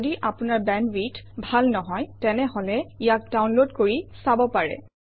যদি আপোনাৰ বেণ্ডৱিডথ ভাল নহয় তেনেহলে ইয়াক ডাউনলোড কৰি চাব পাৰে